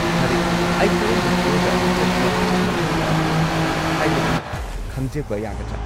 ꯐꯔꯦ, ꯑꯩ ꯀꯔꯝꯕ ꯐ꯭ꯂꯣꯔꯗ ꯆꯠꯄ ꯃꯊꯧ ꯇꯥꯒꯦ ꯍꯥꯏꯕꯗꯨ ꯈꯪꯖꯕ ꯌꯥꯒꯗ꯭ꯔꯥ?